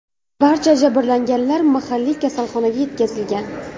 Barcha jabrlanganlar mahalliy kasalxonaga yetkazilgan.